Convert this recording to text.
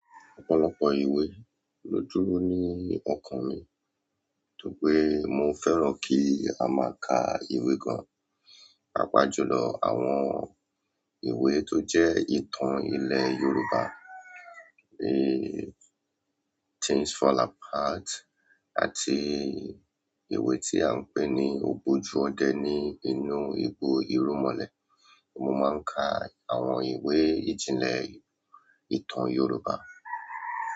Ọ̀pọ̀lọpọ̀ ìwé ló dúró ní ọkàn mi, tó pé mo fẹ́ràn kí a máa ka ìwé gan. Pàápàá jùlọ julọ àwọn ìwé tó jẹ́ ìtàn ilẹ̀ Yorùbá, eééh, Things Fall Apart àti ìwé tí à ń pè ní ògbójú ọdẹ ní inú igbó irúnmolè. Mo máa ń ka àwọn ìwé ìjìnlẹ̀ ìtàn Yorùbá.